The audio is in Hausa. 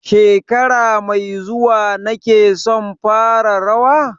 Shekara mai zuwa ne kake son fara rawa?